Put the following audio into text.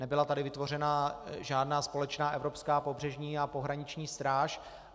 Nebyla tady vytvořená žádná společná evropská pobřežní a pohraniční stráž.